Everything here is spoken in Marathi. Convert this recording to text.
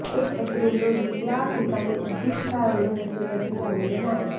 एक एप्रिल रोजी या ठिकाणी उद्दिष्टाएवढे लसीकरण झालेले नाही